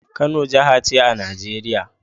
Kano jaha ce a Nigeria